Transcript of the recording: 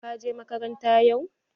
Ka je makaranta yau?